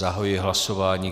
Zahajuji hlasování.